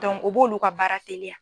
o b'olu ka baara teliya.